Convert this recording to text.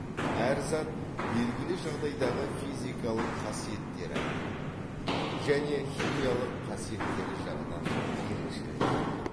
әр зат белгілі жағдайдағы физикалық қасиеттері және химиялық қасиеттері жағынан ерекшеленеді